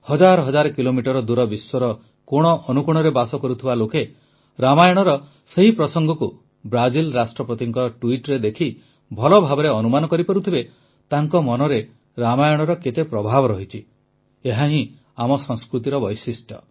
ହଜାର ହଜାର କିଲୋମିଟର ଦୂର ବିଶ୍ୱର କୋଣଅନୁକୋଣରେ ବାସ କରୁଥିବା ଲୋକେ ରାମାୟଣର ସେହି ପ୍ରସଙ୍ଗକୁ ବ୍ରାଜିଲ ରାଷ୍ଟ୍ରପତିଙ୍କ ଟ୍ୱିଟ୍ରେ ଦେଖି ଭଲ ଭାବରେ ଅନୁମାନ କରିପାରୁଥିବେ ତାଙ୍କ ମନରେ ରାମାୟଣର କେତେ ପ୍ରଭାବ ରହିଛି ଏହାହିଁ ଆମ ସଂସ୍କୃତିର ବୈଶିଷ୍ଟ୍ୟ